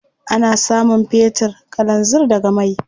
Ana samun fetir, kalanzir daga mai.